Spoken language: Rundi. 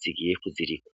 zigiye kuzirika.